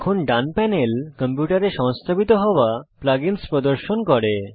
এখন ডান প্যানেল কম্পিউটারে সংস্থাপিত হওয়া plug ইন্স প্রদর্শন করে